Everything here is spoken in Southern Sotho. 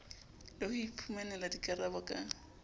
le ho iphumanela dikarabo ka